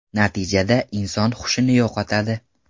Natijada inson hushini yo‘qotadi.